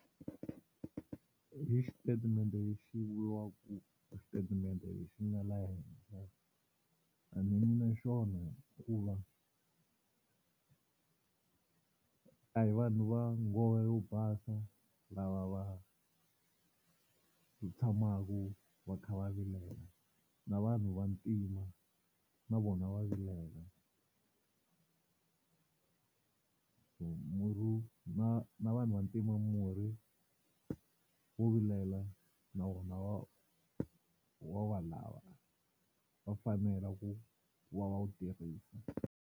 I xitatimende lexi vuriwaka xitatimende lexi nga laha henhla a ni yimi na xona hikuva a hi vanhu va nghohe yo basa lava va tshamaka va kha va vilela na vanhu Vantima na vona va vilela so murhi na na vanhu Vantima murhi wo vilela na wona va wa va lava va fanela ku va va wu tirhisa.